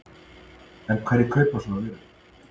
En hverjir kaupa svo vörurnar?